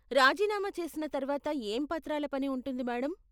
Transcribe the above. రాజీనామా చేసిన తర్వాత ఏం పత్రాల పని ఉంటుంది మేడం?